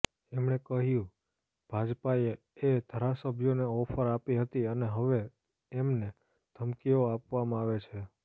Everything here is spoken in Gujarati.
એમણે કહ્યું ભાજપાએ એ ધારાસભ્યોને ઓફર આપી હતી અને હવે એમને ધમકીઓ આપવામાં આવે છે